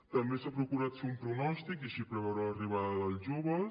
també s’ha procurat fer un pronòstic i així preveure l’arribada dels joves